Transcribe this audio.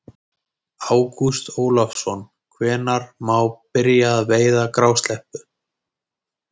Ágúst Ólafsson: Hvenær má byrja að veiða grásleppu?